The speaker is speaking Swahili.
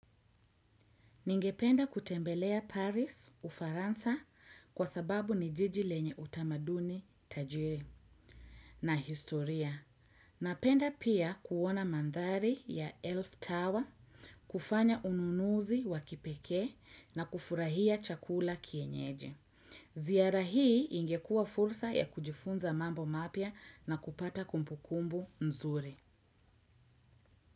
Ningependa kutembelea Paris Ufaransa kwa sababu ni jiji lenye utamaduni tajiri na historia. Napenda pia kuona mandhari ya Elf tower, kufanya ununuzi wa kipekee na kufurahia chakula cha kienyeji. Ziara hii ingekua fursa ya kujifunza mambo mapya na kupata kumbukumbu mzuri.